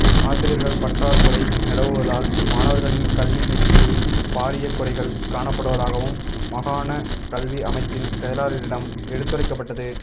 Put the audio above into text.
ஆசிரியர்கள் பற்றாக்குறை நிலவுவதால் மாணவர்களின் கல்வி வீழ்ச்சியில் பாரிய குறைகள் காணப்படுவதாகவும் மாகாண கல்வி அமைச்சின் செயலாளரிடம் எடுத்துரைக்கப்பட்டது